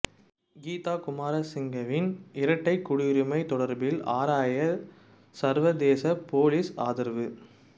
கீதா குமாரசிங்கவின் இரட்டைக் குடியுரிமை தொடர்பில் ஆராய சர்வதேச பொலிஸ் ஆதரவு